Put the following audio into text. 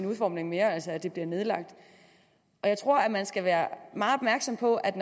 udformning altså at de bliver nedlagt jeg tror at man skal være meget opmærksom på at